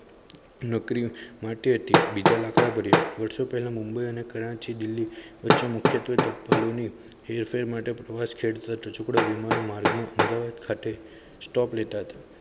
નોકરી માટે હતી બીજા લાખ વર્ષો પહેલાં મુંબઈ અને કરાચી દિલ્હી વચ્ચે મુખ્યત્વે તાક્ભાલે હેરફેર માટે પ્રવાસ ખેડ કરતો ટચુકડો વિમાનમાર્ગ અહેમદાબાદ ખાતે stop લેતા હતા